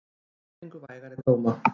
Þrír fengu vægari dóma.